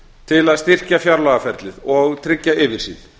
til að styrkja fjárlagaferlið og tryggja yfirsýn